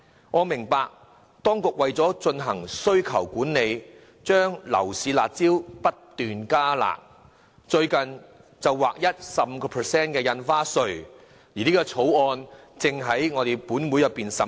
我明白當局為了進行需求管理，將樓市"辣招"不斷"加辣"，最近更劃一徵收 15% 印花稅，相關的條例草案正在本會進行審議。